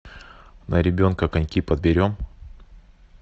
на ребенка коньки подберем